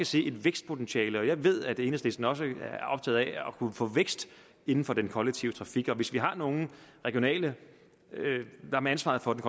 se et vækstpotentiale i jeg ved at enhedslisten også at kunne få vækst inden for den kollektive trafik og hvis vi har nogle regionale med ansvaret for den